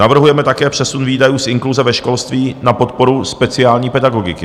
Navrhujeme také přesun výdajů z inkluze ve školství na podporu speciální pedagogiky.